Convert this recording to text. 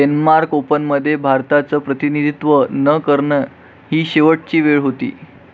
Denmark ओपनमध्ये भारताचं प्रतिनिधित्व न करणं ही शेवटची वेळ होती.